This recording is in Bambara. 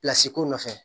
ko nɔfɛ